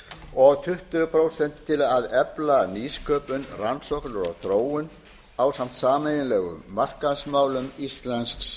og tuttugu prósent að efla nýsköpun rannsóknir og þróun ásamt sameiginlegum markaðsmálum íslensks